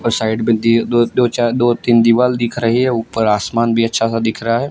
और साइड में दे दो दो चार दो तीन दीवाल दिख रही है ऊपर आसमान भी अच्छा सा दिख रहा है।